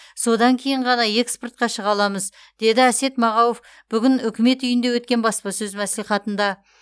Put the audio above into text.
содан кейін ғана экспортқа шыға аламыз деді әсет мағауов бүгін үкімет үйінде өткен баспасөз мәслихатында